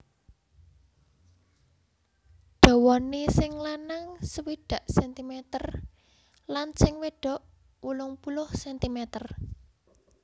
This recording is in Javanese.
Dawane sing lanang swidak cm lan sing wedok wolung puluh cm